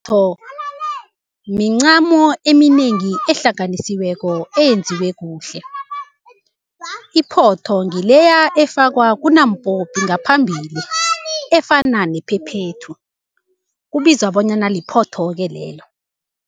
Iphotho mincamo eminengi ehlaganisiweko eyenziwe kuhle. Iphotho ngileya efakwa kunompopi ngaphambili efana nephephethu, kubizwa bonyana liphotho-ke lelo.